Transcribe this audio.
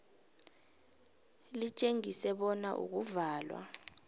litjengise bona ukuvalwa